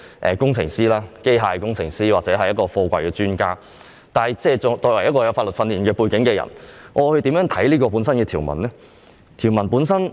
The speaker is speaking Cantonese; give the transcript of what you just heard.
我不是機械工程師或貨櫃專家，但作為具有法律訓練背景的議員，我會如何看待這條文呢？